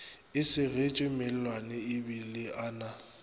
a segetšwe mellwaneebile a na